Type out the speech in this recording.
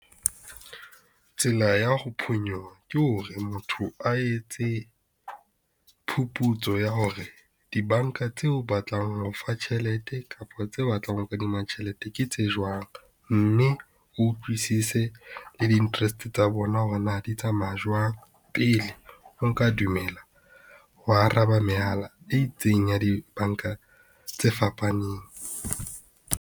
Tsela ya ho phonyoha ke hore motho a etse, phuphutso ya hore dibanka tse batlang ho o fa tjhelete kapa tse batlang ho kadima tjhelete ke tse jwang. Mme o utlwisise le di interest tsa bona, hore na di tsamaya jwang pele o nka dumela, ho araba mehala e itseng ya dibanka tse fapaneng.